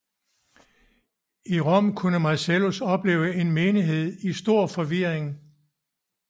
I Rom kunne Marcellus opleve en menighed i stor forvirring